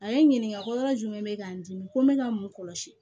A ye n ɲininka ko yɔrɔ jumɛn bɛ k'an dimi ko n bɛ ka mun kɔlɔsi